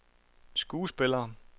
skuespillere